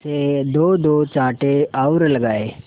से दोदो चांटे और लगाए